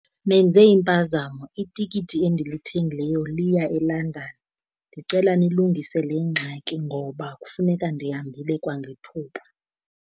Nenze impazamo, itikiti endilithengileyo liya eLondon. Ndicela nilungise le ngxaki ngoba kufuneka ndihambile kwangethuba.